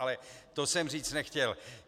Ale to jsem říct nechtěl.